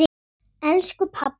Elsku pabbi og mamma.